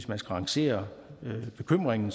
rangere bekymringen